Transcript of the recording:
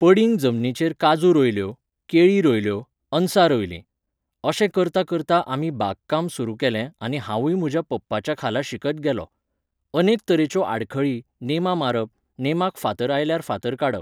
पडींग जमनीचेर काजू रोयल्यो, केळी रोयल्यो, अनसां रोयलीं. अशें करतां करतां आमी बाग काम सुरू केलें आनी हांवूय म्हज्या पप्पाच्या खाला शिकत गेलों. अनेक तरेच्यो आडखळी, नेमां मारप, नेमाक फातर आयल्यार फातर काडप.